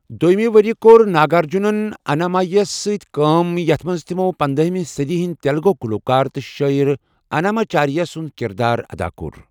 دوٚیمہِ ورۍ یہِ کوٚر ناگ ارجُن انامایہ ہَس منٛز کٲم یتھ منٛز تِمَو پنداہمہِ صدی ہنٛدۍ تیلگو گُلوکار تہٕ شٲعر، اناماچاریہ سُنٛد کردار ادا کوٚر۔